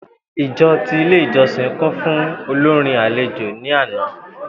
Ijọ ti Ile ijọsin kun fun olorin alejo ni ana.